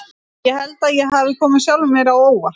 Ég held að ég hafi komið sjálfum mér á óvart.